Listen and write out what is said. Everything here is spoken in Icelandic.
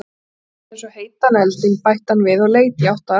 Forðast það eins og heitan eldinn, bætti hann við og leit í átt að arninum.